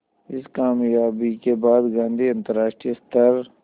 इस क़ामयाबी के बाद गांधी अंतरराष्ट्रीय स्तर